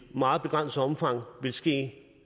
meget begrænset omfang vil ske